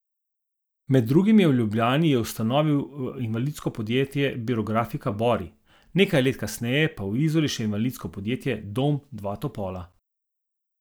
Med drugim je v Ljubljani je ustanovil invalidsko podjetje Birografika Bori, nekaj let kasneje pa v Izoli še invalidsko podjetje Dom dva topola.